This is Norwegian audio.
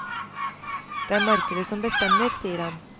Det er markedet som bestemmer, sier han.